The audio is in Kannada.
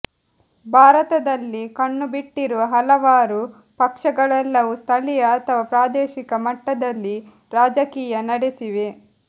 ಭಾರತದಲ್ಲಿ ಕಣ್ಣುಬಿಟ್ಟಿರುವ ಹಲವಾರು ಪಕ್ಷಗಳೆಲ್ಲವೂ ಸ್ಥಳೀಯ ಅಥವಾ ಪ್ರಾದೇಶಿಕ ಮಟ್ಟದಲ್ಲಿ ರಾಜಕೀಯ ನಡೆಸಿವೆ